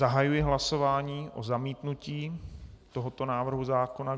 Zahajuji hlasování o zamítnutí tohoto návrhu zákona.